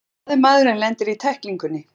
Hvað ef maðurinn lendir í tæklingunni?